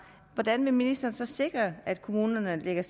hvordan vil ministeren så sikre at kommunerne lægger